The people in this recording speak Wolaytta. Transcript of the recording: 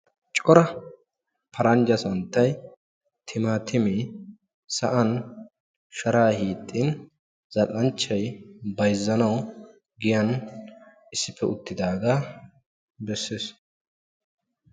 Cora paranjja santtay, timaatimee, sa'an sharaa hiixxin zal'anchchay bayzzanawu giyan issippe uttidaaga besees.